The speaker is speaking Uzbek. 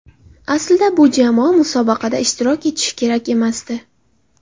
Aslida bu jamoa musobaqada ishtirok etishi kerak emasdi.